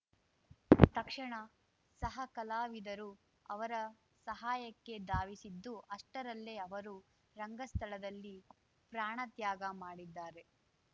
ತಕ್ಷಣ ಸಹಕಲಾವಿದರು ಅವರ ಸಹಾಯಕ್ಕೆ ಧಾವಿಸಿದ್ದು ಅಷ್ಟರಲ್ಲೇ ಅವರು ರಂಗಸ್ಥಳದಲ್ಲಿ ಪ್ರಾಣ ತ್ಯಾಗ ಮಾಡಿದ್ದಾರೆ